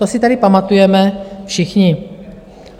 To si tady pamatujeme všichni.